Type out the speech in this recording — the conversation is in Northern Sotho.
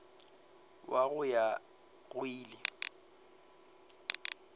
wa go ya go ile